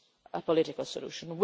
a political solution.